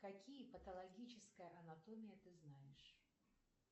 какие патологическая анатомия ты знаешь